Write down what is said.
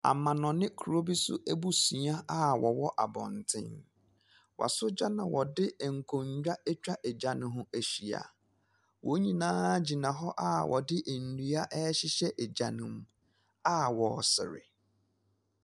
Afarefoɔ bi kɔ po. Wɔgyinagina wɔn kodoɔ no so. Wɔrekye nsuom nam yi bi agu kodoɔ no mu. Na wɔn a aka nso reboa wɔn.